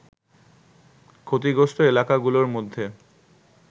ক্ষতিগ্রস্ত এলাকাগুলোর মধ্যে